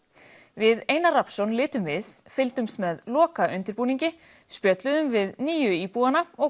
við Einar Rafnsson litum við fylgdumst með lokaundirbúningi spjölluðum við nýju íbúana og